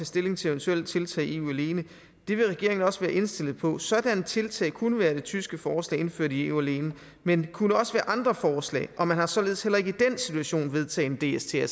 stilling til eventuelle tiltag i eu alene det vil regeringen også være indstillet på sådanne tiltag kunne være det tyske forslag indført i eu alene men det kunne også være andre forslag og man kan således heller ikke i den situation vedtage en dst